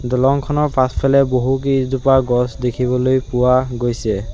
দলংখনৰ পাছফালে বহুকেইজোপা গছ দেখিবলৈ পোৱা গৈছে।